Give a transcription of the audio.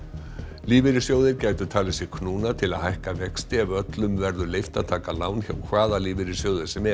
lífeyrissjóðir gætu talið sig knúna til að hækka vexti ef öllum verður leyft að taka lán hjá hvaða lífeyrissjóði sem er